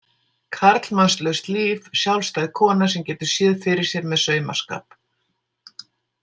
Karlmannslaust líf, sjálfstæð kona sem getur séð fyrir sér með saumaskap.